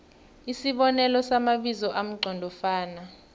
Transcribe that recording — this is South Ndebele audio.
isibonelo samabizo amqondofana